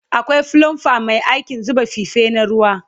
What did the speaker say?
Akwai flumba Mai aikin zuba fife na ruwa